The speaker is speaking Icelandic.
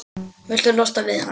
Viltu losna við hana?